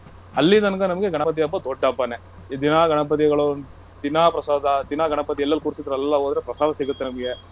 ಅಲ್ಲಿ ತನಕ ನಮ್ಗೆ ಗಣಪತಿ ಹಬ್ಬ ದೊಡ್ ಹಬ್ಬನೇ. ದಿನಾ ಗಣಪತಿಗಳು, ದಿನಾ ಪ್ರಸಾದ, ದಿನಾ ಗಣಪತಿ ಎಲ್ಲೆಲ್ಲು ಕೂರ್ಸಿತ್ತಾರೋ ಅಲ್ಲೆಲ್ಲಾ ಹೊದ್ರೆ ಪ್ರಸಾದ ಸಿಗತ್ತೆ ನಮ್ಗೆ.